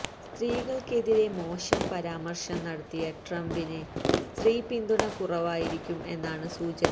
സ്ത്രീകള്ക്കെതിരേ മോശം പരാമര്ശം നടത്തിയ ട്രംപിന് സ്ത്രീ പിന്തുണ കുറവായിരിക്കും എന്നാണ് സൂചന